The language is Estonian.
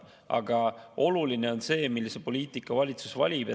Aga oluline on see, millise poliitika valitsus valib.